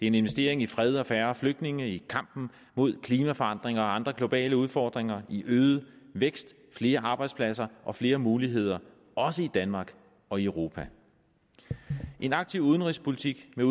en investering i fred og færre flygtninge i kampen mod klimaforandringer og andre globale udfordringer i øget vækst i flere arbejdspladser og i flere muligheder også i danmark og i europa en aktiv udenrigspolitik med